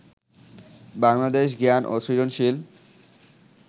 বাংলাদেশ জ্ঞান ও সৃজনশীল